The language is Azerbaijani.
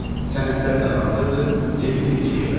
Sənədlər də hazırdır, gedirik Kiyevə.